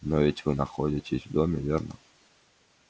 но ведь вы находитесь в доме верно